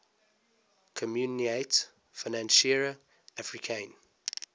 communaute financiere africaine